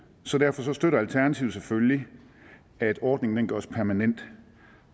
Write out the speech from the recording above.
derfor støtter alternativet selvfølgelig at ordningen gøres permanent